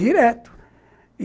Direto.